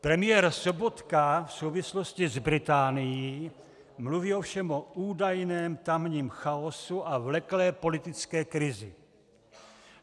Premiér Sobotka v souvislosti s Británií mluví ovšem o údajném tamním chaosu a vleklé politické krizi.